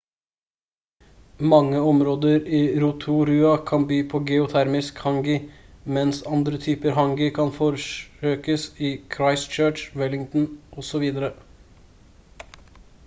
mange områder i rotorua kan by på geotermisk hangi mens andre typer hangi kan forsøkes i christchurch wellington osv